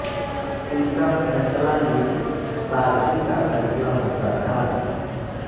उनका फैसला ही पार्टी का फैसला होता था